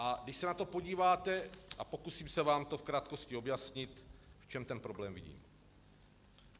A když se na to podíváte, a pokusím se vám to v krátkosti objasnit, v čem ten problém vidím.